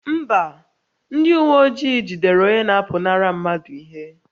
Mba, ndị uwe ojii jidere onye na-apụnara mmadụ ihe